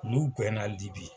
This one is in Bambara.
N'u gɛnna Libi